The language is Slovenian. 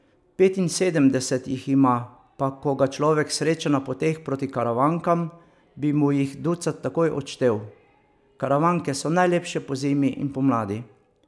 Petinsedemdeset jih ima, pa ko ga človek sreča na poteh proti Karavankam, bi mu jih ducat takoj odštel: 'Karavanke so najlepše pozimi in pomladi.